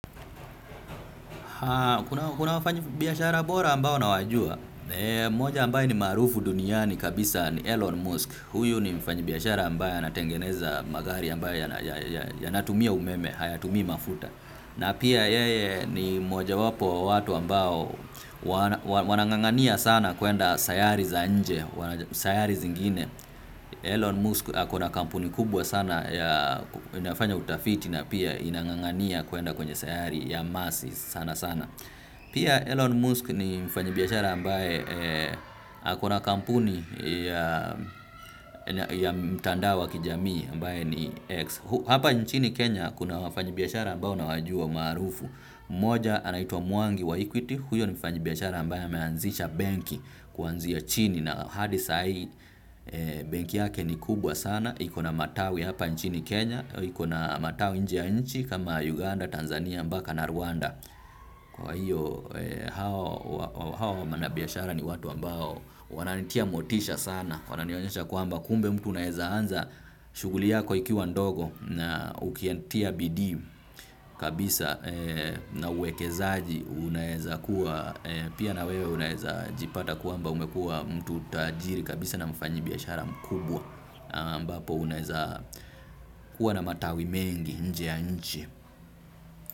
Kuna wafanyibiashara bora ambao na wajua. Moja ambayo ni maarufu duniani kabisa ni Elon Musk. Huyu ni mfanyibiyashara ambayo anatengeneza magari ambayo yanatumia umeme, hayatumia mafuta. Na pia yeye ni moja wapo watu ambao wanangangania sana kuenda sayari za nje, sayari zingine Elon Musk ako na kampuni kubwa sana ya inafanya utafiti na pia inangangania kuenda kwenye sayari ya masi sana sana. Pia Elon Musk ni mfanyibiachara ambaye ako na kampuni ya mtandao wa kijamii ambaye ni X. Hapa nchini Kenya kuna wafanyibiashara ambayo nawajua maarufu. Moja anaitwa mwangi wa ikwiti, huyo ni mfanyi biashara ambaye ameanzisha benki kuanzi ya chini na hadi saai benki yake ni kubwa sana, ikona matawi hapa nchini Kenya, ikona matawi nje ya nchi kama Uganda, Tanzania, Mbaka, Na rwanda. Kwa hiyo hao manabiashara ni watu ambao wananitia motisha sana. Wananionyesha kwamba kumbe mtu unaeza anza shuguli yako ikiwa ndogo. Na ukiya tia bidii kabisa na uwekezaji unaeza kuwa pia na wewe unaeza jipata kuamba umekua mtu tajiri kabisa na mfanyi biashara mkubwa ambapo unaeza kuwa na matawi mengi nje ya nchi.